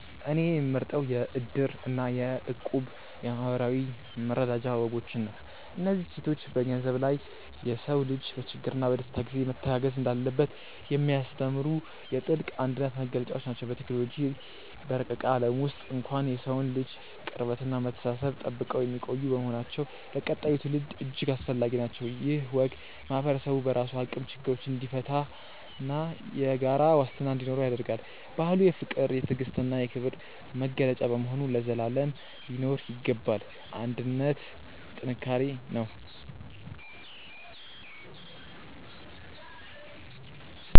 እኔ የምመርጠው የ"እድር" እና የ"እቁብ" የማኅበራዊ መረዳጃ ወጎችን ነው። እነዚህ እሴቶች ከገንዘብ በላይ የሰው ልጅ በችግርና በደስታ ጊዜ መተጋገዝ እንዳለበት የሚያስተምሩ የጥልቅ አንድነት መገለጫዎች ናቸው። በቴክኖሎጂ በረቀቀ ዓለም ውስጥ እንኳን የሰውን ልጅ ቅርበትና መተሳሰብ ጠብቀው የሚቆዩ በመሆናቸው ለቀጣዩ ትውልድ እጅግ አስፈላጊ ናቸው። ይህ ወግ ማኅበረሰቡ በራሱ አቅም ችግሮችን እንዲፈታና የጋራ ዋስትና እንዲኖረው ያደርጋል። ባህሉ የፍቅር፣ የትዕግስትና የክብር መገለጫ በመሆኑ ለዘላለም ሊኖር ይገባል። አንድነት ጥንካሬ ነው።